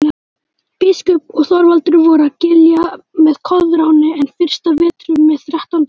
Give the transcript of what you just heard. Biskup og Þorvaldur voru að Giljá með Koðráni enn fyrsta vetur með þrettánda mann.